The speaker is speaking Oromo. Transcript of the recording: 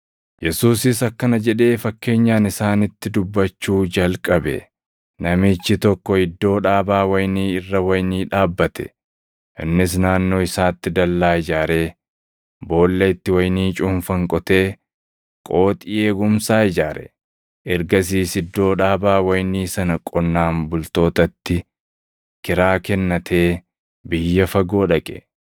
Yesuusis akkana jedhee fakkeenyaan isaanitti dubbachuu jalqabe; “Namichi tokko iddoo dhaabaa wayinii irra wayinii dhaabbate. Innis naannoo isaatti dallaa ijaaree, boolla itti wayinii cuunfan qotee qooxii eegumsaa ijaare. Ergasiis iddoo dhaabaa wayinii sana qonnaan bultootatti kiraa kennatee biyya fagoo dhaqe.